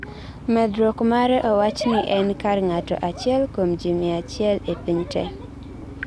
medruok mare owachni en kar ng'ato achiel kuom ji mia achiel e piny te